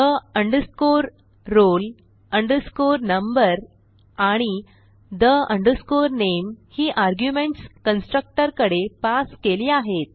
the roll number आणि the name ही arguments constructor कडे पास केली आहेत